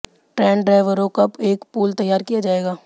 trained ड्राईवरों का एक पूल तैयार किया जाएगा